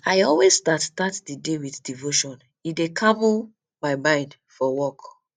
i always start start di day with devotion e dey calm um my mind for work